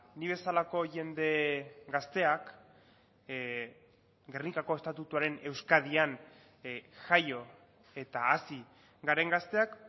ni bezalako jende gazteak gernikako estatutuaren euskadian jaio eta hazi garen gazteak